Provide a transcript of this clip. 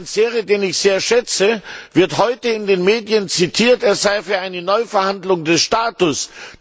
Herr Panzeri, den ich sehr schätze, wird heute in den Medien zitiert, dass er für eine Neuverhandlung des Status sei.